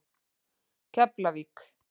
Keflavík